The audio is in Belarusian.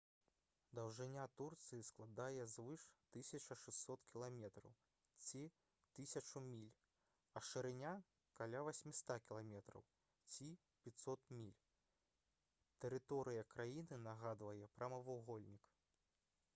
даўжыня турцыі складае звыш 1600 км ці 1000 міль а шырыня — каля 800 км ці 500 міль. тэрыторыя краіны нагадвае прамавугольнік